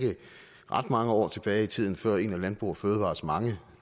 ret mange år tilbage i tiden før vi med landbrug fødevarers mange